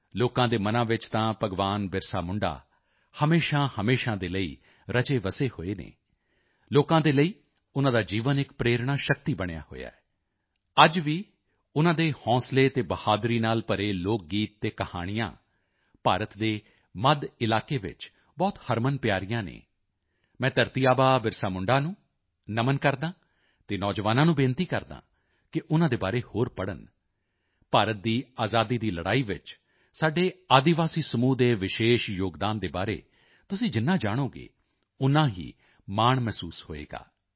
ਲੋਕਾਂ ਦੇ ਮਨਾਂ ਵਿੱਚ ਤਾਂ ਭਗਵਾਨ ਬਿਰਸਾ ਮੁੰਡਾ ਹਮੇਸ਼ਾਹਮੇਸ਼ਾ ਦੇ ਲਈ ਰਚੇਵਸੇ ਹੋਏ ਹਨ ਲੋਕਾਂ ਦੇ ਲਈ ਉਨ੍ਹਾਂ ਦਾ ਜੀਵਨ ਇੱਕ ਪ੍ਰੇਰਣਾ ਸ਼ਕਤੀ ਬਣਿਆ ਹੋਇਆ ਹੈ ਅੱਜ ਵੀ ਉਨ੍ਹਾਂ ਦੇ ਹੌਸਲੇ ਅਤੇ ਬਹਾਦਰੀ ਨਾਲ ਭਰੇ ਲੋਕ ਗੀਤ ਅਤੇ ਕਹਾਣੀਆਂ ਭਾਰਤ ਦੇ ਮੱਧ ਇਲਾਕੇ ਵਿੱਚ ਬਹੁਤ ਹਰਮਨਪਿਆਰੀਆਂ ਹਨ ਮੈਂ ਧਰਤੀ ਆਬਾ ਬਿਰਸਾ ਮੁੰਡਾ ਨੂੰ ਨਮਨ ਕਰਦਾ ਹਾਂ ਅਤੇ ਨੌਜਵਾਨਾਂ ਨੂੰ ਬੇਨਤੀ ਕਰਦਾ ਹਾਂ ਕਿ ਉਨ੍ਹਾਂ ਦੇ ਬਾਰੇ ਹੋਰ ਪੜ੍ਹਨ ਭਾਰਤ ਦੀ ਆਜ਼ਾਦੀ ਦੀ ਲੜਾਈ ਵਿੱਚ ਸਾਡੇ ਆਦਿਵਾਸੀ ਸਮੂਹ ਦੇ ਵਿਸ਼ੇਸ਼ ਯੋਗਦਾਨ ਦੇ ਬਾਰੇ ਤੁਸੀਂ ਜਿੰਨਾ ਜਾਣੋਗੇ ਓਨਾ ਹੀ ਮਾਣ ਮਹਿਸੂਸ ਹੋਵੇਗਾ